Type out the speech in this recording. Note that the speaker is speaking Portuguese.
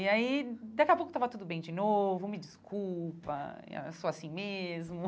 E aí, daqui a pouco tava tudo bem de novo, me desculpa, e ah eu sou assim mesmo.